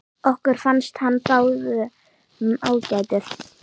Okkur fannst hann báðum ágætur.